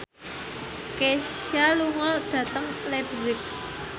Kesha lunga dhateng leipzig